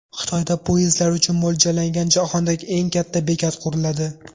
Xitoyda poyezdlar uchun mo‘ljallangan jahondagi eng katta bekat quriladi.